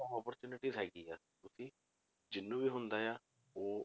Opportunity ਹੈਗੀ ਆ ਕਿਉਂਕਿ ਜਿਹਨੂੰ ਵੀ ਹੁੰਦਾ ਆ, ਉਹ